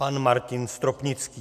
Pan Martin Stropnický.